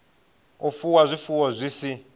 u fuwa zwifuwo zwi si